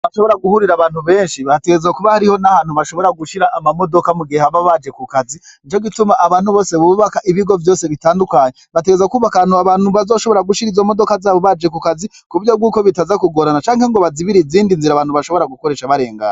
abashobora guhurira abantu benshi bategereza kuba hariho n'ahantu bashobora gushira amamodoka mu gihe aba baje ku kazi. Nico gituma abantu bose bubaka ibigo vyose bitandukanye bategereza kuba akantu abantu bazoshobora gushira izo modoka zabo baje ku kazi kubyo bwuko bitazakugorana cange ngo bazibira izindi nzira abantu bashobora gukoresha barengana.